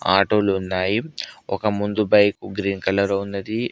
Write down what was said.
ఆటోలు ఉన్నాయి ఒక ముందు బైక్ గ్రీన్ కలర్ ఉన్నది.